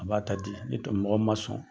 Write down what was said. A b'a ta di ni mɔgɔ min man sɔn